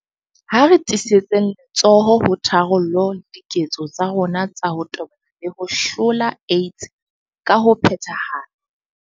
Ha re tiisetseng letsoho ho tharollo le diketso tsa rona tsa ho tobana le ho hlola AIDS ka ho phethahala.